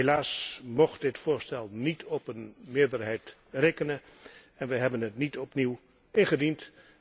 Helaas mocht dit voorstel niet op een meerderheid rekenen en wij hebben het niet opnieuw ingediend.